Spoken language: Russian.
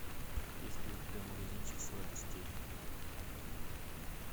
есть ли у тебя магазинчик сладостей